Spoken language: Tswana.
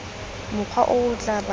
mokgwa o o tla bakang